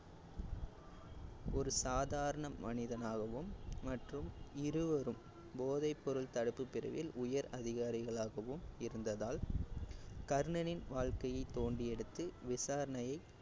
ஒரு சாதாரண மனிதனாகவும் மற்றும் இருவரும் போதைப்பொரும் தடுப்பு பிரிவில் உயர் அதிகாரிகளாகவும் இருந்ததால் கர்ணனின் வாழ்க்கையைத் தோண்டியெடுத்து விசாரணையை